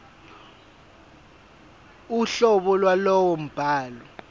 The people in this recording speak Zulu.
uhlobo lwalowo mbhalo